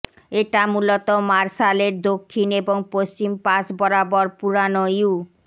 এটা মূলত মার্শাল এর দক্ষিণ এবং পশ্চিম পাশ বরাবর পুরানো ইউ